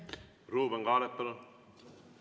Ruuben Kaalep, palun!